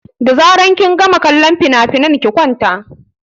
Da zaran kin gama kallon finafinan ki kwanta!